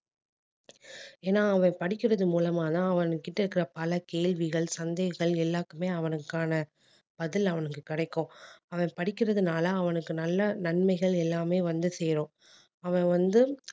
ஏன்னா அவன் படிக்கிறது மூலமா தான் அவன் கிட்ட இருக்கிற பல கேள்விகள் சந்தேகங்கள் எல்லாத்துக்குமே அவனுக்கான பதில் அவனுக்கு கிடைக்கும் அவன் படிக்கிறதுனால அவனுக்கு நல்ல நன்மைகள் எல்லாமே வந்து சேரும் அவன் வந்து